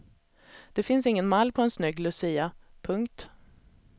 Det finns ingen mall på en snygg lucia. punkt